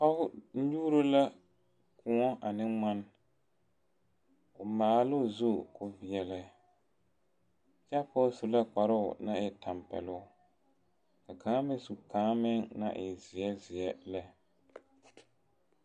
pɔge nyuuro la koɔ ane ŋmane, o maalɛ o zu kɔɔ veɛlɛ kyɛ su kparoo naŋ e tampɛloŋ ka kaŋa meŋ su kaŋ naŋ e zeɛ zeɛ lɛ